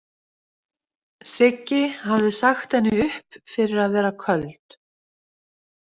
Siggi hafði sagt henni upp fyrir að vera köld.